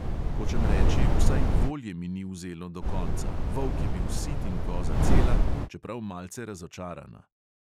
Hočem reči, vsaj volje mi ni vzelo do konca, volk je bil sit in koza cela, čeprav malce razočarana.